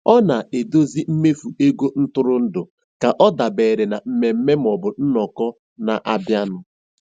Ọ na-edozi mmefu ego ntụrụndụ ka ọ dabere na mmemme maọbụ nnọkọ na-abịanụ.